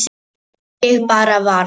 Ég bara varð.